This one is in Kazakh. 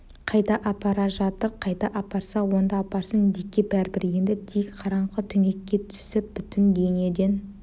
қайда апара жатыр қайда апарса онда апарсын дикке бәрібір енді дик қараңғы түнекке түсіп бүтін дүниеден